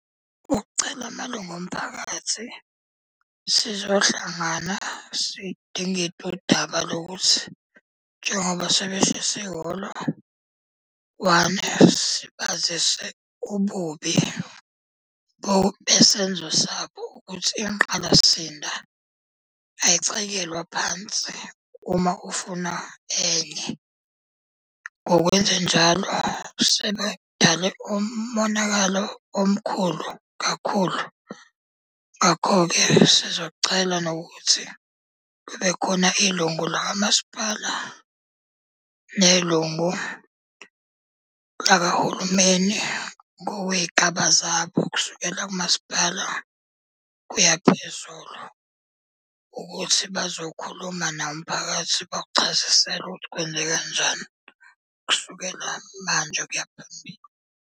Ukucela amalungu omphakathi, sizohlangana sidingide udaba lokuthi njengoba sebeshise ihholo sibazise ububi besenzo sabo ukuthi ingqalasizinda ayicekelwa phansi uma ufuna enye. Ngokwenzenjalo sebedale umonakalo omkhulu kakhulu. Ngakho-ke sizocela nokuthi kube khona ilungu lakwamasipala nelungu lakahulumeni ngokwey'gaba zabo kusukela kumasipala kuya phezulu. Ukuthi bazokhuluma nawo umphakathi bawuchazisele ukuthi kwenzeka njani kusukela manje kuyaphambili.